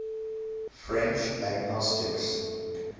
french agnostics